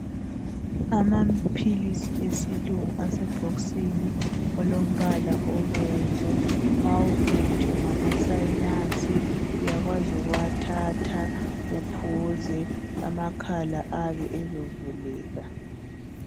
Amaphilisi esilungu asebhokisini elombala obomvu mawuphethwe ngamasinas uyakwazi ukuwathatha uphuze amakhala ayabe ezovuleka.